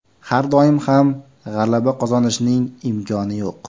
Har doim ham g‘alaba qozonishning imkoni yo‘q.